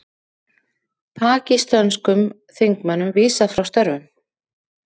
Pakistönskum þingmönnum vísað frá störfum